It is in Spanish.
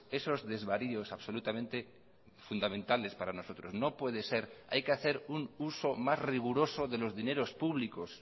esos desvaríos absolutamente fundamentales para nosotros no puede ser hay que hacer un uso más riguroso de los dineros públicos